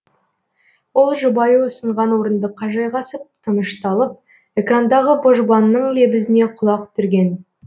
ол жұбайы ұсынған орындыққа жайғасып тынышталып экрандағы божбанның лебізіне құлақ түрген